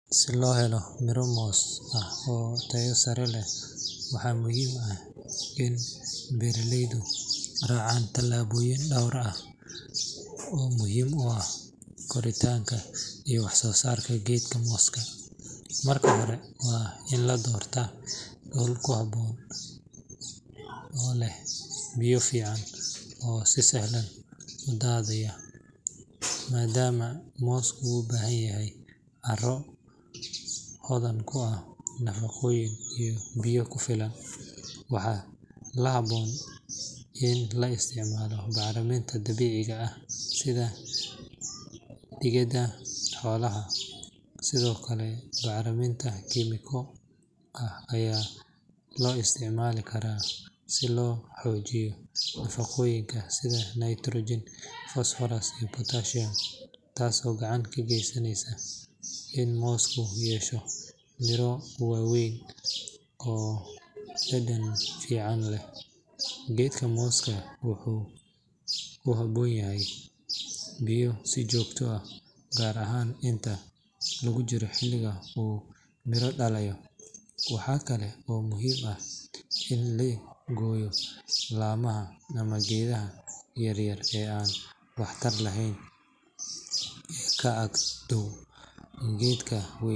Si loo helo miro moos ah oo tayo sare leh waxaa muhiim ah in beeraleydu raacaan tallaabooyin dhowr ah oo muhiim u ah koritaanka iyo waxsoosaarka geedka mooska. Marka hore, waa in la doortaa dhul ku habboon oo leh biyo fiican oo si sahlan u daadagaya, maadaama moosku u baahan yahay carro hodan ku ah nafaqooyin iyo biyo ku filan. Waxaa la habboon in la isticmaalo bacriminta dabiiciga ah sida digada xoolaha, sidoo kale bacriminta kiimiko ah ayaa loo isticmaali karaa si loo xoojiyo nafaqooyinka sida nitrogen, phosphorus, iyo potassium taasoo gacan ka geysaneysa in moosku yeesho miro waaweyn oo dhadhan fiican leh. Geedka mooska wuxuu u baahan yahay biyo si joogto ah, gaar ahaan inta lagu jiro xilliga uu miro dhalayo. Waxaa kale oo muhiim ah in la gooyo laamaha ama geedaha yaryar ee aan waxtarka lahayn ee ka agdhow geedka weyn.